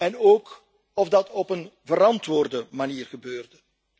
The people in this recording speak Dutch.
en ook of dat op een verantwoorde manier gebeurde.